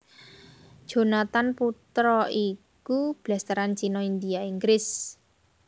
Jonathan Putra iku blasteran China India Inggris